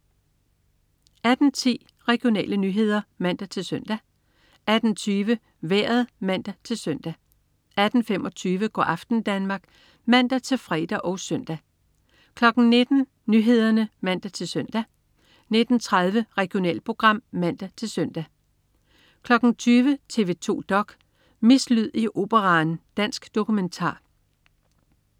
18.10 Regionale nyheder (man-søn) 18.20 Vejret (man-søn) 18.25 Go' aften Danmark (man-fre og søn) 19.00 Nyhederne (man-søn) 19.30 Regionalprogram (man-søn) 20.00 TV 2 dok.: Mislyd i Operaen. Dansk dokumentar